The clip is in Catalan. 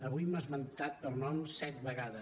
avui m’ha esmentat per nom set vegades